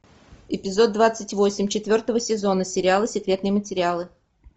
эпизод двадцать восемь четвертого сезона сериала секретные материалы